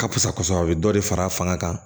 Ka fisa kosɛbɛ a bɛ dɔ de far'a fanga kan